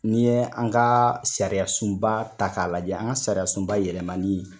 Nin ye an ka sariyasunba ta k'a lajɛ , an ka sariyasunba yɛlɛmani